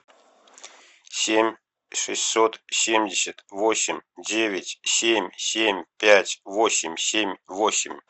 семь шестьсот семьдесят восемь девять семь семь пять восемь семь восемь